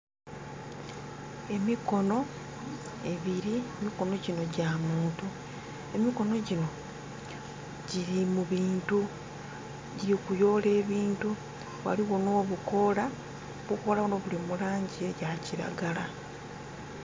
Emikono ebiri, emikono gino gya muntu. Emikono gino giri mubintu, giri kuyoola ebintu. Waliwo no bukoola. Obukoola buno buli mulangi eya kiragala